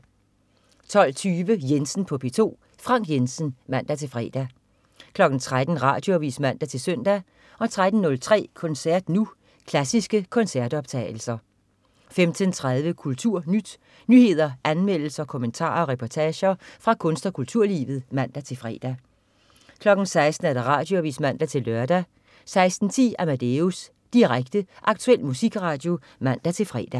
12.20 Jensen på P2. Frank Jensen (man-fre) 13.00 Radioavis (man-søn) 13.03 Koncert Nu. Klassiske koncertoptagelser 15.30 KulturNyt. Nyheder, anmeldelser, kommentarer og reportager fra kunst- og kulturlivet (man-fre) 16.00 Radioavis (man-lør) 16.10 Amadeus. Direkte, aktuel musikradio (man-fre)